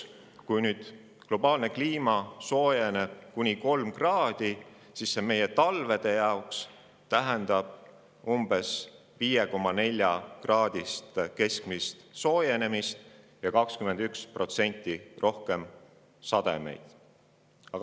Kui globaalne kliima soojeneb sajandi lõpuks kuni 3 kraadi, tähendab see meie talvede umbes 5,4-kraadist keskmist soojenemist ja 21% rohkem sademeid.